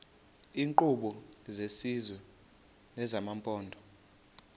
iinkqubo zesizwe nezamaphondo